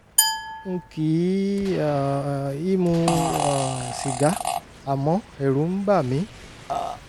n kì um í mu um sìgá àmọ́ ẹ̀rù ń bà mí